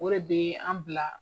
O de bɛ an bila.